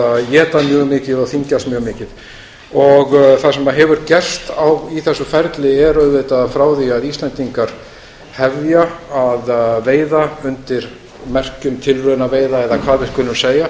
að éta mjög mikið og þyngist mjög mikið það sem hefur gerst í þessu ferli er auðvitað að frá því að íslendingar hefja að veiða undir merkjum tilraunaveiða eða hvað við skulum segja